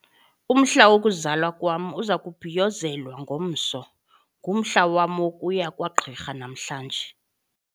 Umhla wokuzalwa kwam uza kubhiyozelwa ngomso. ngumhla wam wokuya kwagqirha namhlanje